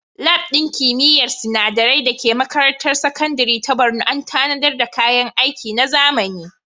Lab ɗin kimiyyar sinadarai da ke makarantar sakandare ta Borno an tanadar da kayan aiki na zamani.